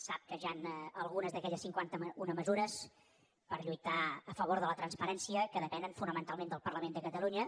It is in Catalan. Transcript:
sap que hi han algunes d’aquelles cinquantauna mesures per lluitar a favor de la transparència que depenen fonamentalment del parlament de catalunya